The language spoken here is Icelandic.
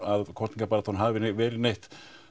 að kosningabaráttan hafi verið neitt